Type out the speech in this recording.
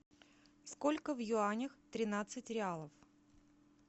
сколько в юанях тринадцать реалов